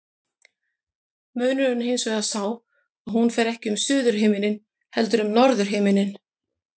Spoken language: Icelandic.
Munurinn er hins vegar sá að hún fer ekki um suðurhimininn heldur um norðurhimininn.